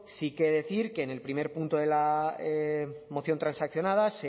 sí que decir que en el primer punto de la moción transaccionada